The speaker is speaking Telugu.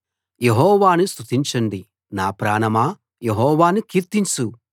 యెహోవాను స్తుతించండి నా ప్రాణమా యెహోవాను కీర్తించు